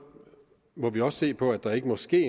må vi også se på at der ikke må ske